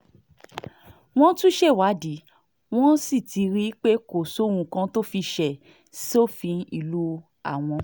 wọ́n ti ṣèwádìí wọ́n sì ti rí i pé kò sóhun kan tó fi ṣe sófin ìlú àwọn